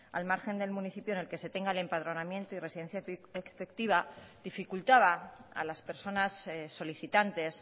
al margen del municipio en el que se tenga el empadronamiento y residencia efectiva dificultaba a las personas solicitantes